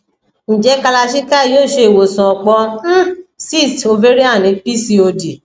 nje kalarchikai yoo ṣe iwosan ọpọ um cysts ovarian ni pcod